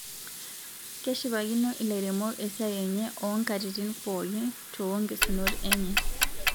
keshipakino ilairemok esiaai enye oonkatitin pookin too nkesunot enye